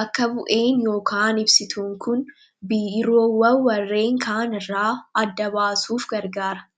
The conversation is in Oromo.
bakka bu'ee yookaan ibsituun kun biiroowwan warreen kaanirraa adda baasuuf gargaara.